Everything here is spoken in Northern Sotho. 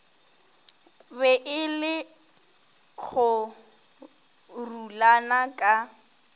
be e le kgorulana ka